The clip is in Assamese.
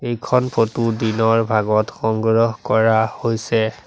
এইখন ফটো দিনৰ ভাগত সংগ্ৰহ কৰা হৈছে।